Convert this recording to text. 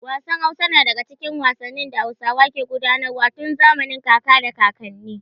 Wasan dambe na daga cikin wasannin da Hausawa ke gudanar wa tun zamanin kaka da kakanni.